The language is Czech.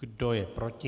Kdo je proti?